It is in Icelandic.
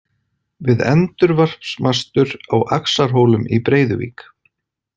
Við endurvarpsmastur á Axlarhólum í Breiðuvík.